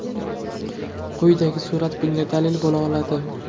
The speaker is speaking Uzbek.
Quyidagi surat bunga dalil bo‘la oladi.